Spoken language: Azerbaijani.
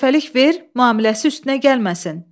Birdəfəlik ver, müamiləsi üstünə gəlməsin.